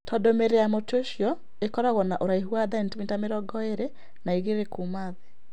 Tondũ mĩri ya mũtĩ ũcio ĩkoragwo na ũraihu wa sentimita mĩrongo ĩrĩ na igĩrĩ kuuma thĩ.